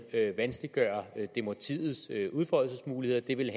vanskeliggøre demokratiets udfoldelsesmuligheder det ville